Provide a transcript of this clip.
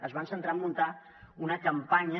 es van centrar a muntar una campanya